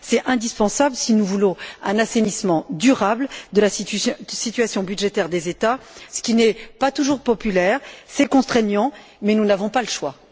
C'est indispensable si nous voulons un assainissement durable de la situation budgétaire des États, ce qui n'est pas toujours populaire. C'est contraignant, mais nous n'avons pas le choix.